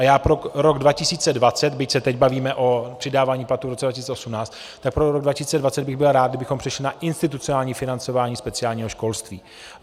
A já pro rok 2020, byť se teď bavíme o přidávání platů v roce 2018, tak pro rok 2020 bych byl rád, kdybychom přešli na institucionální financování speciálního školství.